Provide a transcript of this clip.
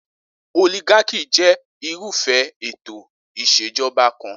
Oligarchy je irúfé ètò ìsèjoba kan.